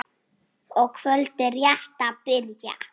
og kvöldið rétt að byrja!